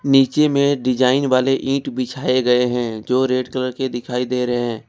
नीचे में डिजाइन वाले ईट बिछाए गए हैं जो रेड कलर के दिखाई दे रहे हैं।